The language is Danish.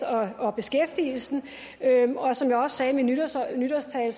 og beskæftigelse og som jeg sagde i min nytårstale nytårstale